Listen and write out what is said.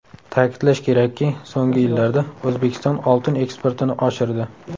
Ta’kidlash kerakki, so‘nggi yillarda O‘zbekiston oltin eksportini oshirdi.